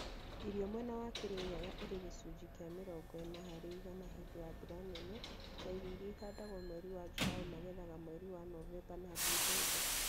Irio mwena wa Kirinyaga irĩ gĩcunjĩ kĩa mĩrongo ĩna harĩ igana hĩndĩ ya mbura nene na irio irĩa ihandagwo mweri wa Julaĩ magethaga mweri wa Novemba na Dicemba